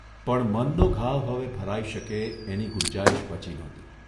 પણ મનનો ઘાવ હવે ભરાઇ શકે એની ગુંજાઇશ બચી નહોતી.